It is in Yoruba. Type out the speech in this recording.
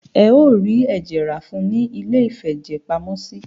Ẹ o rí ẹ̀jẹ̀ rá fún ùn ní iléìfẹ̀jẹ̀pamọ́sí.